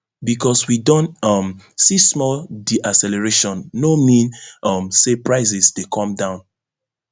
bicos we don um see small deacceleration no mean um say prices dey come down